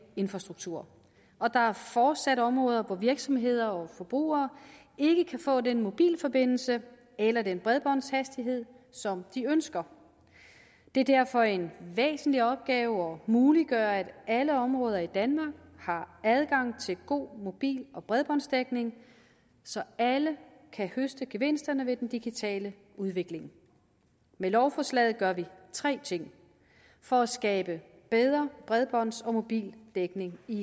infrastruktur og der er fortsat områder hvor virksomheder og forbrugere ikke kan få den mobilforbindelse eller den bredbåndshastighed som de ønsker det er derfor en væsentlig opgave at muliggøre at alle områder i danmark har adgang til god mobil og bredbåndsdækning så alle kan høste gevinsterne ved den digitale udvikling med lovforslaget gør vi tre ting for at skabe bedre bredbånds og mobildækning i